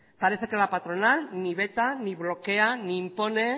parece que la patronal ni veta ni bloquea ni impone